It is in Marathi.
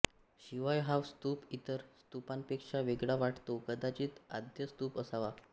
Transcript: शिवाय हा स्तूप इतर स्तूपांपेक्षा वेगळा वाटतो कदाचित आद्य स्तूप असावा